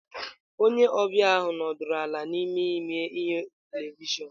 Onye ọbịa ahụ nọdụrụ ala n'ime ime ihe televịshịon.